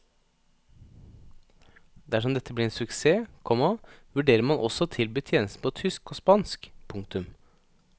Dersom dette blir en suksess, komma vurderer man også å tilby tjenesten på tysk og spansk. punktum